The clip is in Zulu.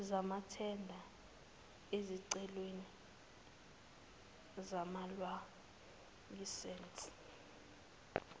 zamathenda ezicelweni zamalayisense